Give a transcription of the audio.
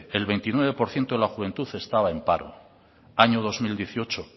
el veintinueve por ciento de la juventud estaba en paro año dos mil dieciocho